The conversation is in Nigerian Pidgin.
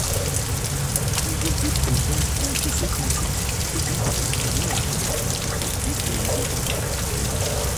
we go fit prevent plenty sicknesses if we put am for mind to dey tell people make dem go hospital early.